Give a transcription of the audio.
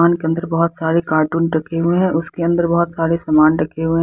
दुकान के अंदर बहुत सारे कार्टून रखे हुए हैं उसके अंदर बहुत सारे सामान रखे हुए हैं।